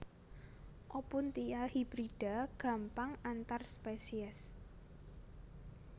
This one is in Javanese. Opuntia hibrida gampang antar spesies